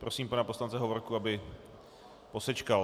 Prosím pana poslance Hovorku, aby posečkal.